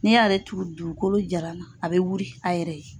N'i y'ale turu dugukolo jaran na a bɛ wuri a yɛrɛ ye.